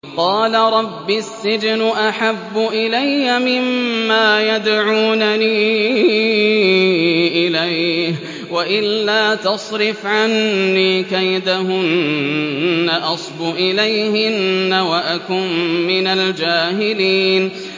قَالَ رَبِّ السِّجْنُ أَحَبُّ إِلَيَّ مِمَّا يَدْعُونَنِي إِلَيْهِ ۖ وَإِلَّا تَصْرِفْ عَنِّي كَيْدَهُنَّ أَصْبُ إِلَيْهِنَّ وَأَكُن مِّنَ الْجَاهِلِينَ